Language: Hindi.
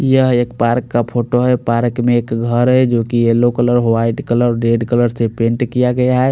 यहाँ एक पार्क का फोटो है पार्क में एक घर है जो की yellow colour white colour red colour से पेंट किया गया है।